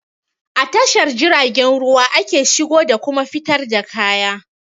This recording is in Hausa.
A tashar jiragen ruwa ake shigo da kuma fitar da kaya